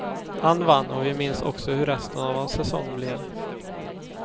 Han vann och vi minns också hur resten av hans säsong blev.